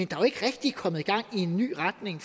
jo ikke rigtigt kommet gang i en ny retning